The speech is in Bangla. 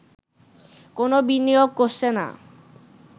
কোন বিনিয়োগ করছে না